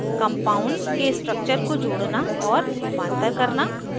compounds के structure को जोड़ना और रूपांतर करना